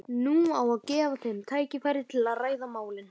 Nú á að gefa þeim tækifæri til að ræða málin.